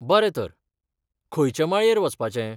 बरें तर, खंयचे माळयेर वचपाचें?